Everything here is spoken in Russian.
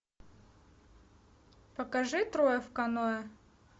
покажи трое в каноэ